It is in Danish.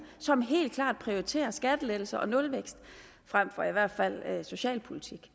som helt klart prioriterer skattelettelser og nulvækst frem for i hvert fald socialpolitik